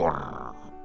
Qur.